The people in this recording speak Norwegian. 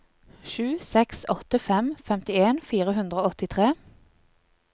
sju seks åtte fem femtien fire hundre og åttitre